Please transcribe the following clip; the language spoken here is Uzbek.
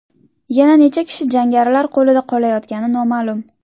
Yana necha kishi jangarilar qo‘lida qolayotgani noma’lum.